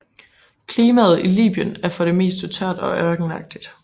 Klimaet i Libyen er for det meste tørt og ørkenagtig